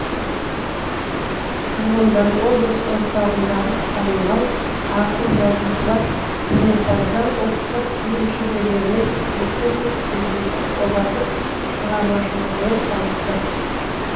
тұрғындар облыс орталығындағы танымал ақын жазушылар өнерпаздар ұлттық киім шеберлерімен көзбе көз кездесіп олардың шығармашылығымен танысты